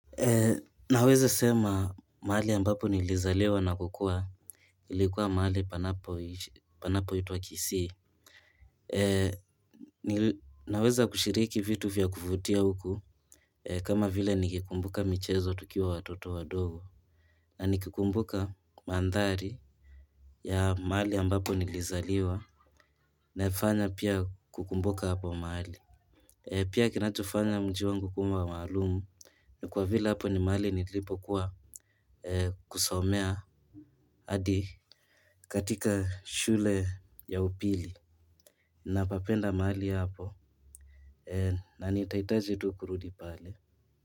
Naweza sema mahali ambapo nilizaliwa na kukua ilikuwa mahali panapoitwa Kisii. Naweza kushiriki vitu vya kuvutia huku kama vile nikikumbuka michezo tukiwa watoto wadogo. Na nikikumbuka mandhari ya mahali ambapo nilizaliwa naifanya pia kukumbuka hapo mahali. Pia kinachofanya mji wangu kuu wa maalum ni kwa vile hapo ni mahali nilipokuwa. Kusomea hadi katika shule ya upili. Napapenda mahali hapo na nitahitaji tu kurudi pale.